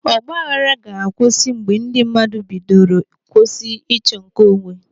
Ọgbaaghara ga-akwụsị mgbe ndị mmadụ bidoro kwụsị ịchọ nke onwe.